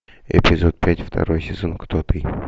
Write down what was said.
эпизод пять второй сезон кто ты